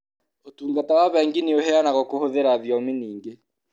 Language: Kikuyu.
ũtungata wa bengi nĩ ũheanagwo kũhũthĩra thiomi nyingĩ.